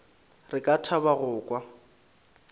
re ka thaba go kwa